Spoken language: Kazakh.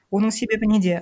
оның себебі неде